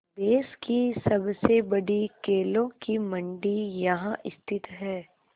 देश की सबसे बड़ी केलों की मंडी यहाँ स्थित है